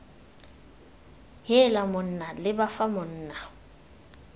heela monna leba fa monna